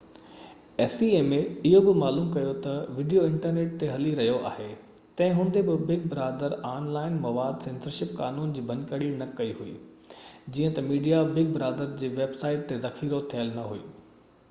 acma اهو بہ معلوم ڪيو تہ وڊيو انٽرنيٽ تي هلي رهيو آهي تنهن هوندي بہ بگ برادر آن لائن مواد سينسرشپ قانون جي ڀڃڪڙي نہ ڪئي هئي جيئن تہ ميڊيا بگ بردار جي ويب سائيٽ تي ذخيرو ٿيل نہ هئي